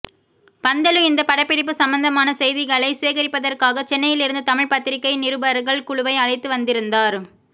பந்தலு இந்தப் படப்பிடிப்பு சம்பந்தமான செய்திகளை சேகரிப்பதற்காக சென்னையில் இருந்து தமிழ் பத்திரிகை நிருபர்கள் குழுவை அழைத்து வந்திருந்தார்